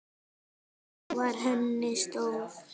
Trú var henni stoð.